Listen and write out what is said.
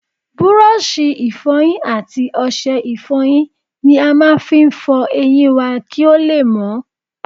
Búrọ̀ṣì Ìfọ̀yín àti ọṣẹ Ìfọ̀yín ni a máa fi ń fọ eyín wá kí ó lè mọ́